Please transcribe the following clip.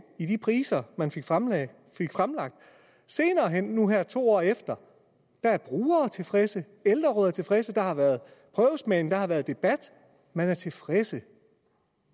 i de priser man fik fremlagt senere hen nu her to år efter er brugere tilfredse ældrerådet er tilfreds der har været prøvesmagning der har været debat man er tilfreds